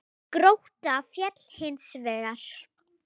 Grótta féll hins vegar.